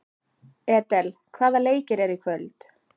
Edel, hvaða leikir eru í kvöld?